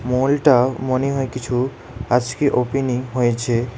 মলটা মনে হয় কিছু আজকে ওপেনিং হয়েছে।